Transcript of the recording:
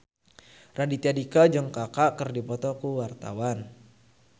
Raditya Dika jeung Kaka keur dipoto ku wartawan